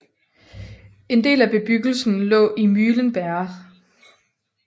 En del af bebyggelsen lå i Mühlenberg